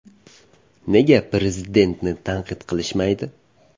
Nega Prezidentni tanqid qilishmaydi?